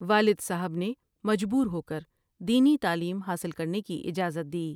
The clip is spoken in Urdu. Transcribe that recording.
والد صاحب نے مجبور ہوکر دینی تعلیم حاصل کرنے کی اجازت دی ۔